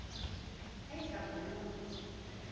a e ka ballwang ho